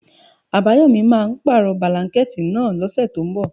Àbáyòmí máà ń pàrọ̀ bílánkẹ̀tì náà lọ́sẹ̀ tínbọ̀.